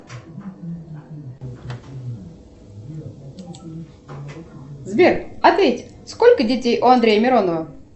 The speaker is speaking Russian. сбер ответь сколько детей у андрея миронова